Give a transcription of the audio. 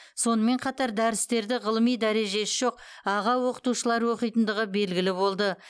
сонымен қатар дәрістерді ғылыми дәрежесі жоқ аға оқытушылар оқитындығы белгілі болды